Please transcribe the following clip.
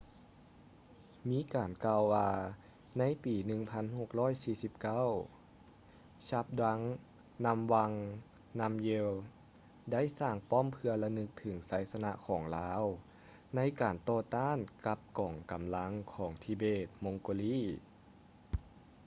ມີການກ່າວວ່າໃນປີ 1649 zhabdrung ngawang namgyel ໄດ້ສ້າງປ້ອມເພື່ອລະນຶກເຖິງໄຊຊະນະຂອງລາວໃນການຕໍ່ຕ້ານກັບກອງກຳລັງຂອງທິເບດ - ມົງໂກລີ tibetan-mongol